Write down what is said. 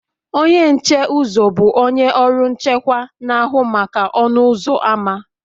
Onye nche uzo, bụ onye ọrụ nchekwa, na-ahụ maka ọnụ ụzọ ámá